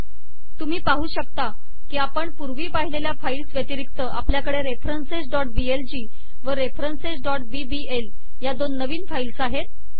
तुम्ही पाहू शकता की आपण पुर्वी पाहिलेल्या फाईल्स व्यतिरिक्त आपल्याकडे referencesबीएलजी व referencesबीबीएल या दोन नवीन फाईल्स आहेत